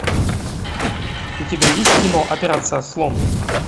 у тебя есть кино операция слон